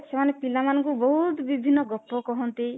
ସେମାନେ ପିଲାମାନଙ୍କୁ ବହୁତ ବିଭିନ୍ନ ଗପ କହନ୍ତି